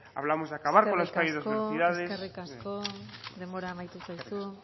hablamos de acabar con la euskadi de dos velocidades eskerrik asko eskerrik asko denbora amaitu zaizu